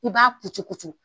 I b'a kucukucu